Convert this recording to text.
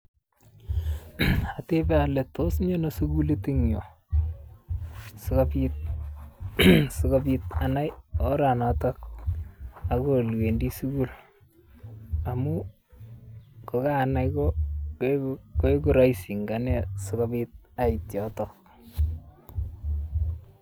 Atebe ale miano sukulit eng nyuu, sikopit anai oranata akoi olewendi sukul amun kokanai koeku raisi eng anee sikopit aiit yoto.